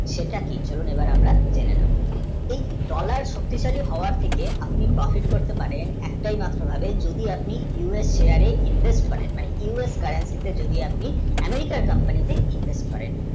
সেটাকেও আমরা জেনে নেব dollar শক্তিশালী হওয়ার থেকে profit করতে পারেন একটা মাত্র আপনি যদি US share এ invest করেন মানে US currency তে আপনি American, company তে invest করেন